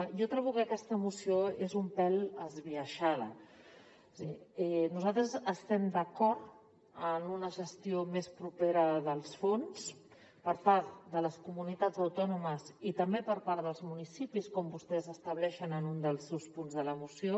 jo trobo que aquesta moció és un pèl esbiaixada és a dir nosaltres estem d’acord en una gestió més propera dels fons per part de les comunitats autònomes i també per part dels municipis com vostès estableixen en un dels seus punts de la moció